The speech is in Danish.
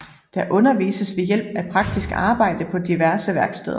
Der undervises ved hjælp af praktisk arbejde på diverse værksteder